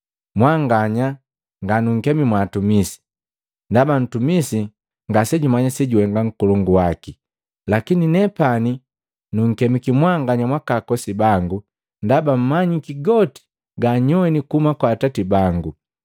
Mwanganya nga nunkemi mwaatumisi, ndaba ntumisi ngasejumanya sejuhenga nkolongu waki. Lakini nepani nunkemiki mwanganya mwaakakosi bangu, ndaba numanyisi goti ganyoini kuhuma kwa Atati bangu.